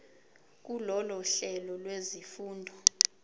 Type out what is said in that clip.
kulolu hlelo lwezifundo